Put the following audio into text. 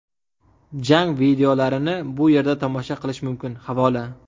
Jang videolarini bu yerda tomosha qilish mumkin havola .